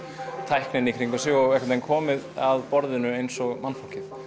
tækni í kringum sig og komið að borðinu eins og mannfólkið